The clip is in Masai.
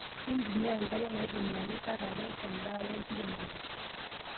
Mintumia nkariak naitumiaki kat yaree tendaa wenkiremore.